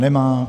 Nemá.